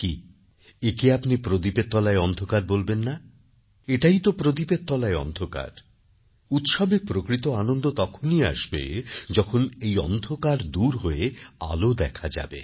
কি একে আপনি প্রদীপের তলায় অন্ধকার বলবেন না এটাই তো প্রদীপের তলায় অন্ধকার উৎসবে প্রকৃত আনন্দ তখনই আসবে যখন এই অন্ধকার দূর হয়ে আলো দেখা যাবে